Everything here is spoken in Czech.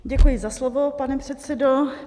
Děkuji za slovo, pane předsedo.